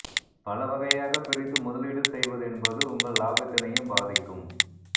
பல வகையாகப் பிரித்து முதலீடு செய்வது என்பது உங்கள் லாபத்தினையும் பாதிக்கும்